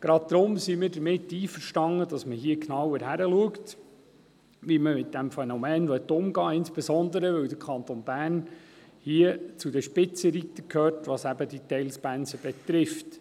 Gerade darum sind wir damit einverstanden, dass man hier genauer hinschaut, wie man mit diesem Phänomen umgehen will, insbesondere, weil der Kanton Bern hier zu den Spitzenreitern gehört, was diese Teilpensen betrifft.